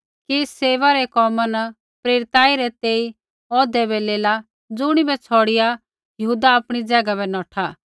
कि सेवै रै कोमा न प्रेरिताई रै तेई औह्दै बै लेला ज़ुणिबै छ़ौड़िआ यहूदा आपणी ज़ैगा बै नौठा